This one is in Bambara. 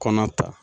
Kɔnɔ ta